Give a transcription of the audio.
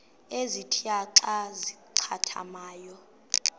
ezintia xa zincathamayo